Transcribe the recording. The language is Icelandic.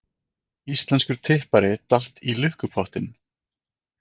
Íslenskur tippari datt í lukkupottinn